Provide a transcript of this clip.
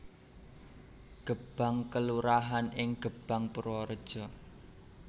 Gebang kelurahan ing Gebang Purwareja